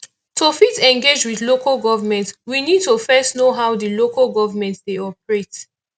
to fit engage with local government we need to first know how di local government dey operate